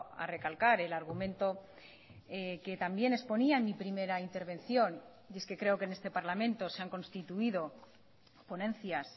a recalcar el argumento que también exponía en mi primera intervención y es que creo que en este parlamento se han constituido ponencias